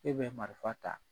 E bɛ marifa ta